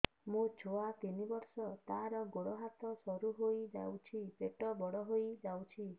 ମୋ ଛୁଆ ତିନି ବର୍ଷ ତାର ଗୋଡ ହାତ ସରୁ ହୋଇଯାଉଛି ପେଟ ବଡ ହୋଇ ଯାଉଛି